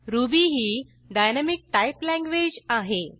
ruby ही dynamic type language आहे